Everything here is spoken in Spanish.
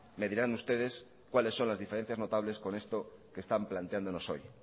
me dirán ustedes cuáles son las diferencias notables con esto que están planteándonos hoy